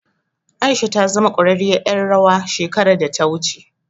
Aisha ta zama ƙwararriyar ƴar rawa shekarar da ta wuce.